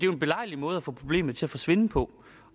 jo en belejlig måde at få problemet til at forsvinde på